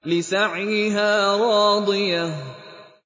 لِّسَعْيِهَا رَاضِيَةٌ